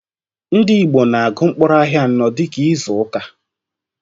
Ndị Igbo na agu mkpụrụ ahịa anọ dịka izuka